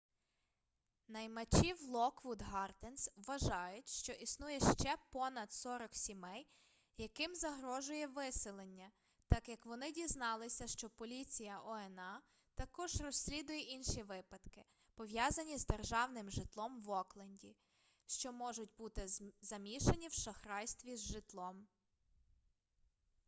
наймачі в локвуд гарденс вважають що існує ще понад 40 сімей яким загрожує виселення так як вони дізналися що поліція oha також розслідує інші випадки пов'язані з державним житлом в окленді що можуть бути замішані в шахрайстві з житлом